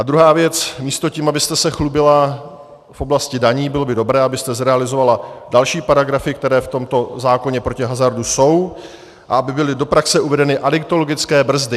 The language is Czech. A druhá věc, místo tím, abyste se chlubila v oblasti daní, bylo by dobré, abyste zrealizovala další paragrafy, které v tomto zákoně proti hazardu jsou, a aby byly do praxe uvedeny adiktologické brzdy.